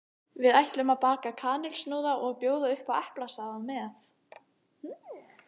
Við ætlum að baka kanilsnúða og bjóða upp á eplasafa með.